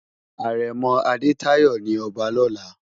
Arèmò Adetayo ni òbá lòlá